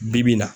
Bi-bi in na